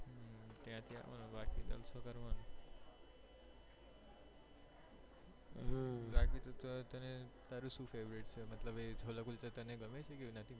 તને તારું શું favourite છે છોલા કુલચા તને ગમે છે કે નથી